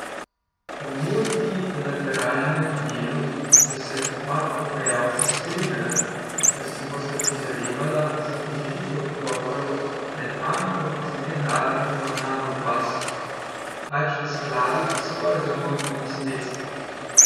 O multilateralnem delu sta se oba pogajalca strinjala, da si bosta prizadevala za oživitev pogovorov pred Banko za mednarodne poravnave v Baslu, pač v skladu s sporazumom o nasledstvu.